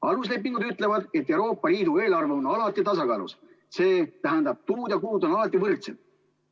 Aluslepingud ütlevad, et Euroopa Liidu eelarve on alati tasakaalus, see tähendab, et tulud ja kulud on alati võrdsed.